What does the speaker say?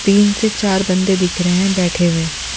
तीन से चार बंदे दिख रहे हैं बैठे हुए।